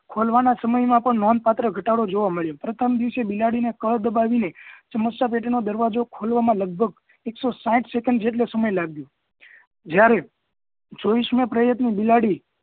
ખોલવાનાં સમય માં પણ નોંધપત્ર ઘટાડો જોવા મળ્યો પ્રથમ દિવસ એ બિલાડી ને કળ દબાવીને સમસ્યા પેટી નો દરવાજો ખોલવામાં લગભગ એકસો સાંઠ સેકન્ડ જેટલો સમય લાગ્યો જ્યારે છવ્વીસ માં પ્રયત્ન એ બિલાડી